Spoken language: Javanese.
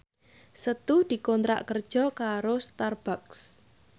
Setu dikontrak kerja karo Starbucks